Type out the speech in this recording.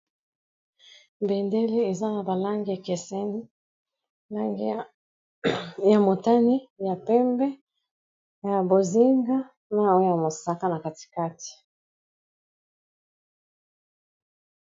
Bendele eza na ba langi ekeseni langi ya motane, ya pembe, ya bozinga, na oya mosaka na katikati.